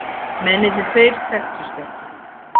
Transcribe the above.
Mennirnir tveir þekktust ekki